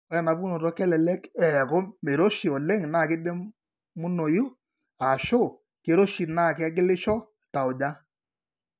Ore enapukunoto kelelek eeku meiroshi oleng naa keidimunoyu, ashu keiroshi naa kegilisho tauja.